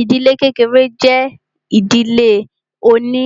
Ìdílé kékeré jẹ́ ìdílé oní